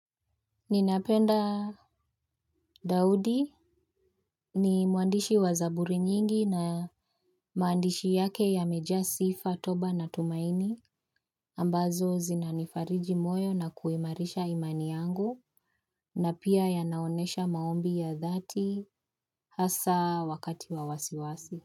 Ninapenda Daudi ni mwandishi wa zaburi nyingi na maandishi yake yameja sifa, toba na tumaini ambazo zinanifariji moyo na kuimarisha imani yangu na pia yanaonyesha maombi ya dhati hasa wakati wa wasiwasi.